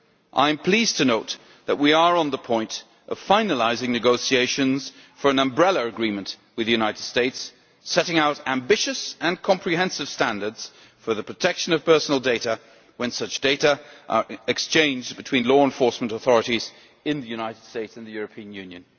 I am pleased to note that we are on the point of finalising negotiations for an umbrella agreement with the United States, setting out ambitious and comprehensive standards for the protection of personal data when such data are exchanged between law enforcement authorities in the United States and in the European Union.